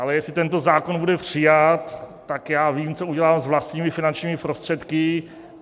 Ale jestli tento zákon bude přijat, tak já vím, co udělám s vlastními finančními prostředky.